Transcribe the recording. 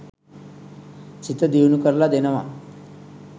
සිත දියුණු කරල දෙනවා.